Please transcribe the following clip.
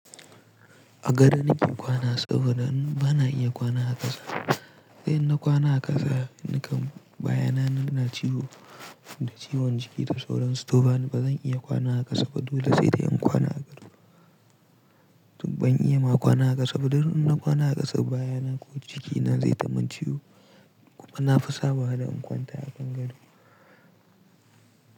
A gado nake kwana saboda bana iya kwana a ƙasa. Sai in na kwana a ƙasa, nakan baya na na ciwo da ciwon jiki ta sauran stofa. Bazan iya kwana a ƙasa, ba dole sai da in kwana a gado. Tun ban iya ma kwana a ƙasa ba, duk in na kwana a ƙasa baya na ko jiki na zai ta man ciwo kuma na fi sabawa da in kwanta a kan gado.